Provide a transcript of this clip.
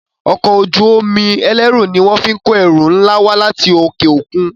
Ọkọ̀ ojú-omi ẹlẹru ní wón fín kọ ẹrù nlá wá láti okeokun.